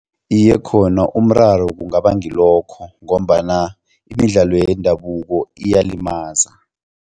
Iye, khona umraro kungaba ngilokho ngombana imidlalo yendabuko iyalimaza.